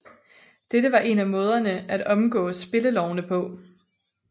Dette var en af måderne at omgåes spillelovene på